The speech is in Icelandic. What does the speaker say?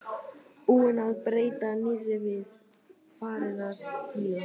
Búinn að bæta nýrri við, farinn að díla.